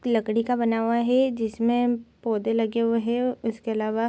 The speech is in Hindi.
लकड़ी का बना हुआ है जिसमे पौधे लगे हुए है उसके अलावा --